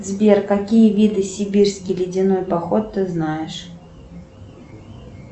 сбер какие виды сибирский ледяной поход ты знаешь